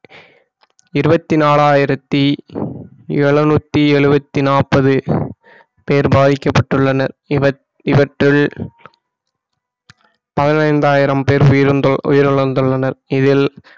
இருபத்தி நாலாயிரத்தி எழுநூத்தி எழுபத்தி நாப்பது பேர் பாதிக்கப்பட்டுள்ளனர் இவற்~ இவற்றில் பதினைந்தாயிரம் பேர் உயிர்~ உயிரிழந்துள்ளனர் இதில்